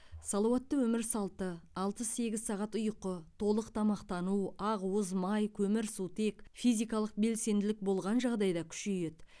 салауатты өмір салты алты сегіз сағат ұйқы толық тамақтану ақуыз май көмірсутек физикалық белсенділік болған жағдайда күшейеді